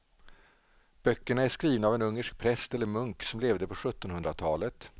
Böckerna är skrivna av en ungersk präst eller munk som levde på sjuttonhundratalet.